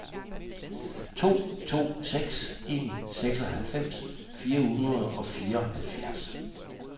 to to seks en seksoghalvfems fire hundrede og fireoghalvfjerds